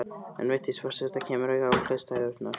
En Vigdís forseti kemur auga á hliðstæðurnar.